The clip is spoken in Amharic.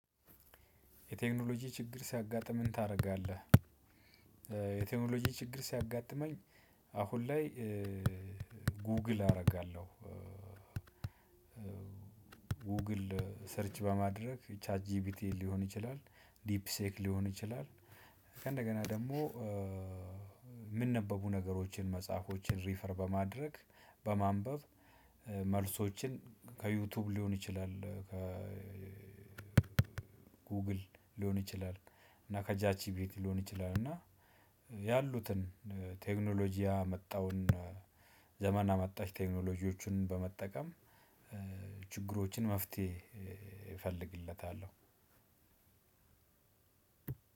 የቴክኖሎጂ ችግር ሲያጋጥም ምን ታደርጋለህ? የቴክኖሎጂ ችግር ሲያጋጥመኝ አሁን ላይ ጉግል አረጋለሁ። ጉግል ሰርች በማድረግ ቻት ጂቢቲ ድፕሲክ ሊሆን ይችላል። ከእንደገና ደግሞ የምንነበቡ ነገሮችን መጽሐፎችን ሪፈር በማድረግ በማንበብ መልሶችን ከዩቲዩብ ሊሆን ይችላል ከ ጉግል ሊሆን ይችላል። እና ከጃጂቢቲ ሊሆን ይችላል እና ያሉትን ቴክኖሎጂ ያመጣውን ዘመን አመጣች ቴክኖሎጂዎችን በመጠቀም። ችግሮችን መፍትሄ እፈልግለታለሁ።